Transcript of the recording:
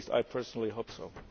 word. At least, I personally